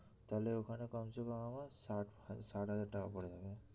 তাহলে ওখানে কম সে কম আমার ষাট ষাট হাজার টাকা পড়ে যাবে